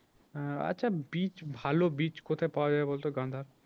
আহ আচ্ছা বীজ ভালো বীজ কোথায় পাওয়া যাবে বলতো গাঁদার?